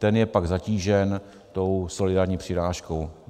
Ten je pak zatížen tou solidární přirážkou.